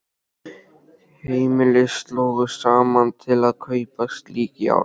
Heimili slógu saman til að kaupa slík járn.